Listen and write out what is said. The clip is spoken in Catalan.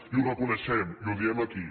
i ho reconeixem i ho diem aquí